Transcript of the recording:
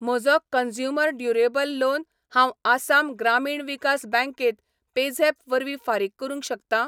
म्हजो consumer durable loan हांव आसाम ग्रामीण विकास बँकेंत पेझॅप वरवीं फारीक करूंक शकतां?